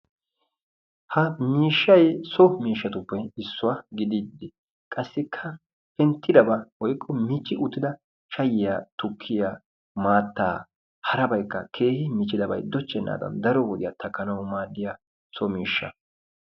Ha miishshay so miishshatuppe issuwa gidiiddi qassikka penttidaba woykko michchi uttida shayyiya, tukkiya, maattaa harabaykka keehi michchidabayi dochchennaadan daro wodiya takkanawu maaddiya so miishsha.